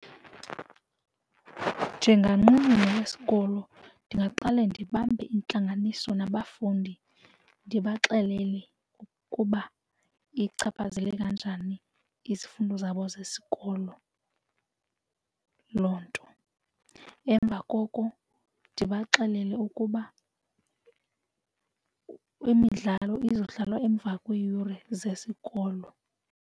Njenganqununu yesikolo ndingaqale ndibambe intlanganiso nabafundi ndibaxelele ukuba ichaphazele kanjani izifundo zabo zesikolo loo nto. Emva koko ndibaxelele ukuba imidlalo izodlalwa emva kweeyure zesikolo.